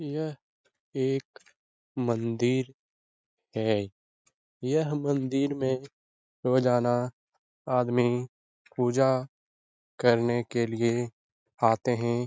यह एक मंदिर है यह मंदिर में रोजाना आदमी पूजा करने के लिए आते हैं ।